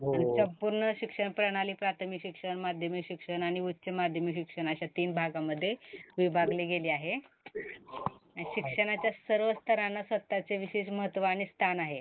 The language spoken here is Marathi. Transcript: आणि संपूर्ण शिक्षण प्रणाली, प्रार्थमिक शिक्षण, माध्यमिक शिक्षण आणि उच्च माध्यमिक शिक्षण अशा तीन भागामध्ये विभागले गेले आहे. आणि शिक्षणाच्या सर्व स्तरांना स्वतःचे विशेष महत्व आणि स्थान आहे.